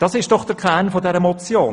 Das ist der Kern dieser Motion: